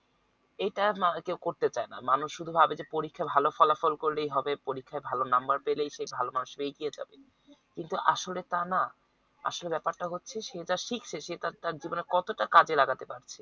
এইটা মা কেও করতে চায় না মানুষ শুধু ভাবে যে পরীক্ষায় ভালো ফলাফল করলেই হবে পরীক্ষায় ভালো নাম্বার পেলেই সে ভালো মানুষ এগিয়ে যাবে কিন্তু আসলে তা না আসলে ব্যাপারটা হচ্ছে সে তা শিখছে সে তার জীবনে কতটা কাজে লাগাতে পারছে